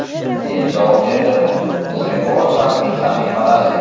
deb javob berdi u. UzReport rasmiy sahifalari:.